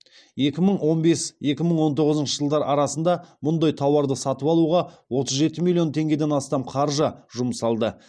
екі мың он бес екі мың он тоғызыншы жылдар арасында мұндай тауарды сатып алуға отыз жеті миллион теңгеден астам қаржы жұмсалды